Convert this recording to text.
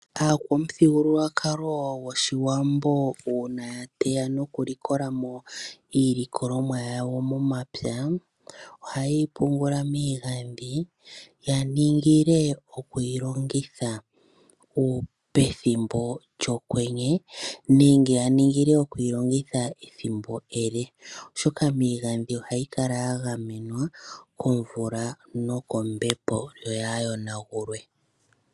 Aakwamuthigululwakalo goshiwambo uuna ya teya noku likola mo iilikolomwa yawo momapya, oha yeyi pungula miigadhi ya ningile okuyi longitha pethimbo lyokwenye, nenge ya ningile okuyi longitha ethimbo ele, oshoka miigandhi ohayi kala ya gamwenwa komvula nokombepo, yo yaa yonagulwe.